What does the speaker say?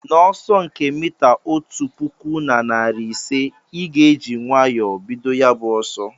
N'ọsọ nke mita otu pụkụ na narị ise, ị ga-eji nwayọọ bido ya bụ ọsọ